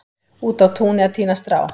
úti á túni að tína strá